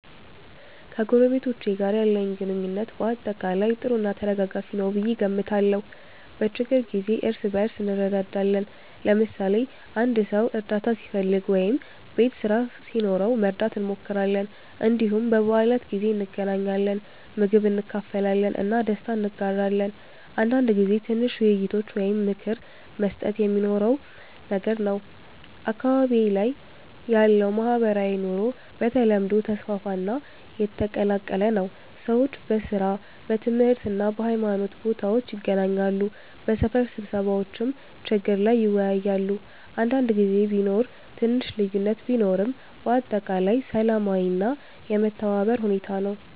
ከጎረቤቶቼ ጋር ያለኝ ግንኙነት በአጠቃላይ ጥሩ እና ተደጋጋፊ ነው ብዬ እገምታለሁ። በችግኝ ጊዜ እርስ በእርስ እንረዳዳለን፣ ለምሳሌ አንድ ሰው እርዳታ ሲፈልግ ወይም ቤት ስራ ሲኖረው መርዳት እንሞክራለን። እንዲሁም በበዓላት ጊዜ እንገናኛለን፣ ምግብ እንካፈላለን እና ደስታ እንጋራለን። አንዳንድ ጊዜ ትንሽ ውይይቶች ወይም ምክር መስጠት የሚኖረውም ነገር ነው። አካባቢዬ ላይ ያለው ማህበራዊ ኑሮ በተለምዶ ተስፋፋ እና የተቀላቀለ ነው። ሰዎች በሥራ፣ በትምህርት እና በሃይማኖት ቦታዎች ይገናኛሉ፣ በሰፈር ስብሰባዎችም ችግር ላይ ይወያያሉ። አንዳንድ ጊዜ ቢኖር ትንሽ ልዩነት ቢኖርም በአጠቃላይ ሰላማዊ እና የመተባበር ሁኔታ ነው።